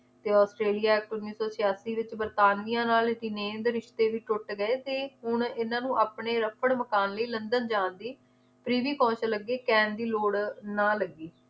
ਤੇ ਆਸਟ੍ਰੇਲੀਆ ਉੱਨੀ ਸੌ ਛਿਆਸੀ ਵਿਚ ਵਰਤਾਨੀਆ ਨਾਲ ਰਿਸ਼ਤੇ ਵੀ ਟੁੱਟ ਗਏ ਤੇ ਹੁਣ ਇਹਨਾਂ ਨੂੰ ਆਪਣੇ ਰੱਪੜ ਮਕਾਨ ਲਈ ਲੰਡਨ ਜਾਨ ਦੀ ਲੱਗੀ ਕਹਿਣ ਦੀ ਲੋੜ ਨਾ ਲੱਗੀ